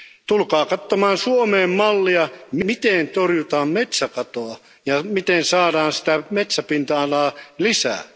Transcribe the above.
Tulkaa katsomaan Suomeen mallia, miten torjutaan metsäkatoa ja miten saadaan sitä metsäpinta alaa lisää.